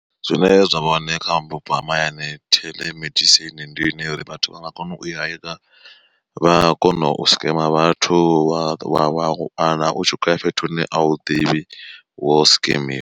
Zwine zwa vha hone kha vhupo ha mahayani theḽemedisini ndi ine ya uri vhathu vha nga kona u i heka vha kona u scam vhathu wa wana u tshi khoya fhethu hune a u ḓivhi wo skemiwa.